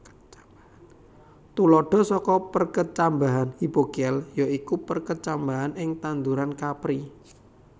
Tuladha saka perkecambahan hipogéal ya iku perkecambahan ing tanduran kapri